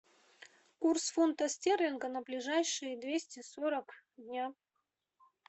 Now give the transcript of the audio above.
курс фунта стерлинга на ближайшие двести сорок дня